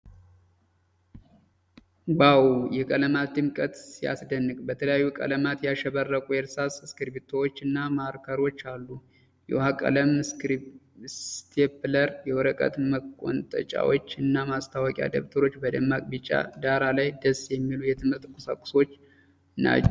ዋው! የቀለማት ድምቀት ሲያስደንቅ! በተለያዩ ቀለማት ያሸበረቁ የእርሳስ፣ እስክሪብቶዎች እና ማርከሮች አሉ። የውሃ ቀለም፣ ስቴፕለር፣ የወረቀት መቆንጠጫዎች እና ማስታወሻ ደብተር ። በደማቅ ቢጫ ዳራ ላይ ደስ የሚሉ የትምህርት ቁሳቁሶች ናቸው።